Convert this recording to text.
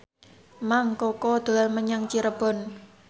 Mang Koko dolan menyang Cirebon